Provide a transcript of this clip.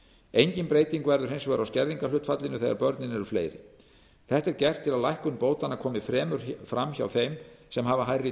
engin breyting verður hins vegar á skerðingarhlutfallinu þegar börnin eru fleiri þetta er gert til að lækkun bótanna komi fremur fram hjá þeim sem hafa hærri